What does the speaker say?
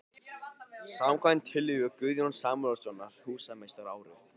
. samkvæmt tillögu Guðjóns Samúelssonar húsameistara árið